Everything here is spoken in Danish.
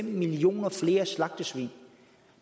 millioner flere slagtesvin